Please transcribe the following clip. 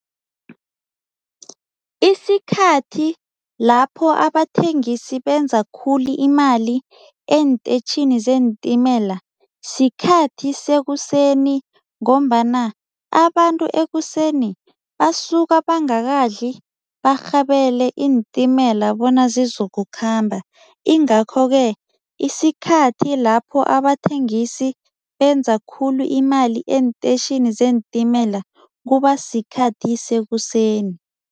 Isikhathi lapho abathengisi benza khulu imali eenteyitjhini zeentimela, sikhathi sekuseni ngombana abantu ekuseni basuka bangakadli barhabele iintimela bona zizokukhamba ingakho-ke isikhathi lapho abathengisi benza khulu imali eenteyitjhini zeentimela kubasikhathi sekuseni.